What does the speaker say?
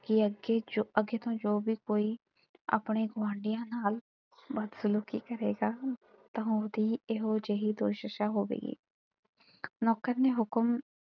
ਕਿ ਅੱਗੇ ਜੋ ਅੱਗੇ ਤੋਂ ਜੋ ਵੀ ਕੋਈ ਆਪਣੇ ਗੁਆਂਢੀਆਂ ਨਾਲ ਬਦਸਲੂਕੀ ਕਰੇਗਾ ਤਾਂ ਉਹਦੀ ਇਹੋ ਜਿਹੀ ਦੁਰਦਸ਼ਾ ਹੋਵੇਗੀ। ਨੌਕਰ ਨੇ ਹੁਕਮ,